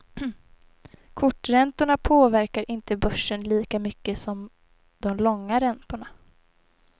Korträntorna påverkar inte börsen lika mycket som de långa räntorna.